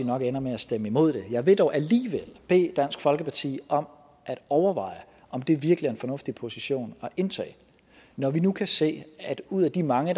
nok ender med at stemme imod det jeg vil dog alligevel bede dansk folkeparti om at overveje om det virkelig er en fornuftig position at indtage når vi nu kan se at ud af de mange